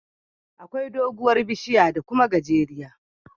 Akwai doguwar bishiya da Kuma gajera